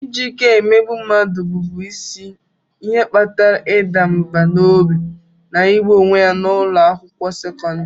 Iji ike emegbu mmadụ bụbu isi ihe kpatara ịda mbà n'obi na igbu onwe ya n'ụlọ akwụkwọ sekọndrị.